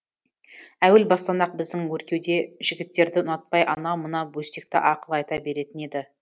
әуел бастан ақ біздің өркеуде жігіттерді ұнатпай анау мынау бөстекті ақыл айта беретін еді